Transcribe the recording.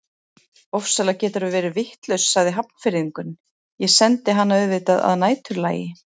Ofsalega geturðu verið vitlaus sagði Hafnfirðingurinn, ég sendi hana auðvitað að næturlagi